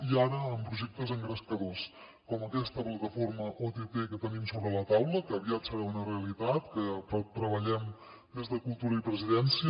i ara amb projectes engrescadors com aquesta plataforma ott que tenim sobre la taula que aviat serà una realitat que treballem des de cultura i presidència